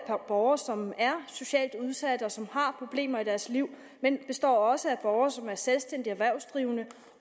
af borgere som er socialt udsatte og som har problemer i deres liv men den består også af borgere som er selvstændige erhvervsdrivende